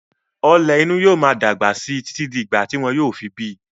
Ọ̀lẹ̀ inú yóò máa dàgbà síi títí di ìgbà tí wọn yóò fi bíi.